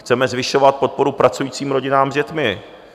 Chceme zvyšovat podporu pracujícím rodinám s dětmi.